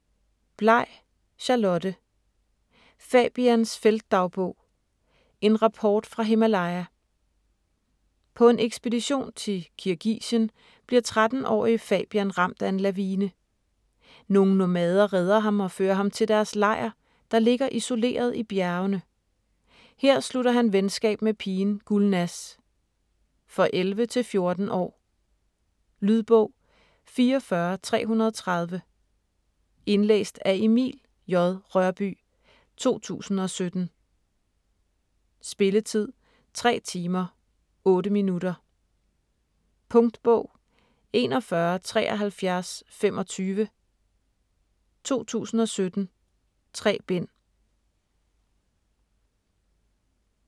Blay, Charlotte: Fabians feltdagbog: en rapport fra Himalaya På en ekspedition til Kirgisien bliver 13-årige Fabian ramt af en lavine. Nogle nomader redder ham og fører ham til deres lejr, der ligger isoleret i bjergene. Her slutter han venskab med pigen Gulnaz. For 11-14 år. Lydbog 44330 Indlæst af Emil J. Rørbye, 2017. Spilletid: 3 timer, 8 minutter. Punktbog 417325 2017. 3 bind.